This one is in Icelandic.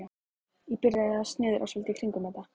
Ég byrjaði að snuðra svolítið í kringum þetta.